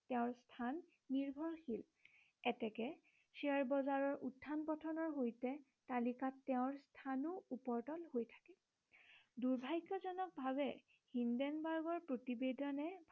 তেওঁৰ স্থান নিৰ্ভৰশীল এতেকে শ্বেয়াৰ বজাৰৰ উত্থান পতনৰ সৈতে তালিকাত তেওঁৰ স্থানো ওপৰ তল হৈ থাকে দূৰ্ভাগ্য়জনক ভাবে হিন্ডেনবাৰ্গৰ প্ৰতিবেদনে